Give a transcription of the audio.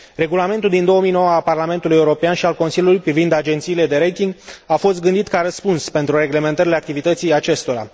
Regulamentul din 2009 al Parlamentului European și al Consiliului privind agențiile de rating a fost gândit ca răspuns pentru reglementarea activității acestora.